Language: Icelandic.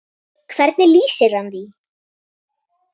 Hvernig lýsir hann því?